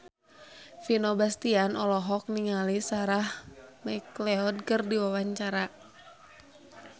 Vino Bastian olohok ningali Sarah McLeod keur diwawancara